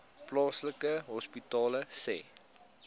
plaaslike hospitale sê